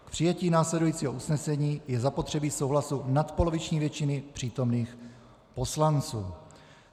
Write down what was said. K přijetí následujícího usnesení je zapotřebí souhlasu nadpoloviční většiny přítomných poslanců.